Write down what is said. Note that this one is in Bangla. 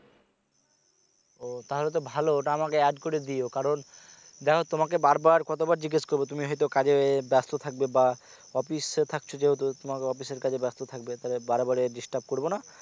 ও তাহলে তো ভালো ওতে আমাকে এড করে দিও কারন দেখো তোমাকে বার বার কত বার জিজ্ঞেস করব তুমি হয়তো কাজে ব্যাস্ত থাকবে বা অফিসে থাকছো যেহেতু তোমাকে অফিসের কাজে ব্যাস্ত থাকবে বারে বারে disturb করব না